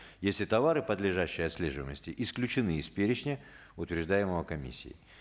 если товары подлежащие отслеживаемости исключены из перечня утверждаемого комиссией